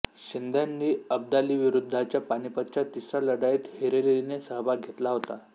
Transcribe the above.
शिंद्यांनी अब्दालीविरुद्धच्या पानिपतच्या तिसऱ्या लढाईत हिरिरीने सहभाग घेतला होता